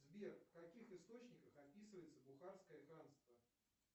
сбер в каких источниках описывается бухарское ханство